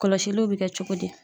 Kɔlɔsiliw be kɛ cogo di?